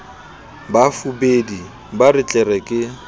bafubedi ba re tlere ke